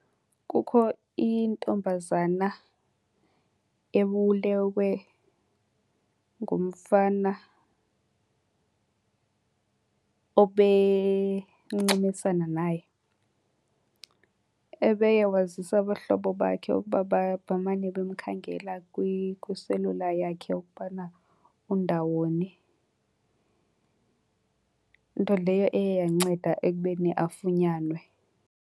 Kukho intombazana ebulewe ngumfana obencumisana naye. Ebeye wazisa abahlobo bakhe ukuba bamane bemkhangela kwiselula yakhe ukubana undawoni. Nto leyo eye yanceda ekubeni afunyanwe.